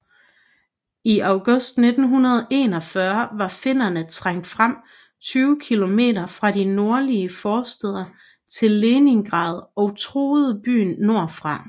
I august 1941 var finnerne trængt frem 20 km fra de nordlige forstæder til Leningrad og truede byen nordfra